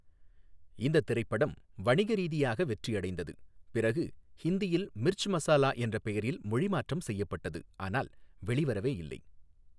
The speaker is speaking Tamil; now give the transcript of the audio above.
இந்தத் திரைப்படம் வணிக ரீதியாக வெற்றி அடைந்தது, பிறகு ஹிந்தியில் 'மிர்ச் மசாலா' என்ற பெயரில் மொழிமாற்றம் செய்யப்பட்டது ஆனால் வெளிவரவே இல்லை.